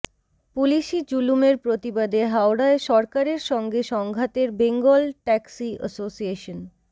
পুলিসি জুলুমের প্রতিবাদে হাওড়ায় সরকারের সঙ্গে সংঘাতের বেঙ্গল ট্যাক্সি অ্যাসোসিয়েশন